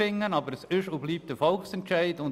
Aber es ist und bleibt ein Volksentscheid.